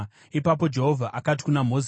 Ipapo Jehovha akati kuna Mozisi,